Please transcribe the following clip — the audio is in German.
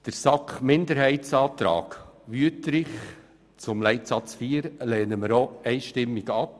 Die Planungserklärung der SAK-Minderheit/Wüthrich zu Leitsatz 4 lehnen wir ebenfalls einstimmig ab.